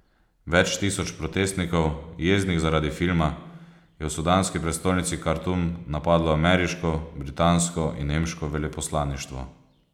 Več tisoč protestnikov, jeznih zaradi filma, je v sudanski prestolnici Kartum napadlo ameriško, britansko in nemško veleposlaništvo.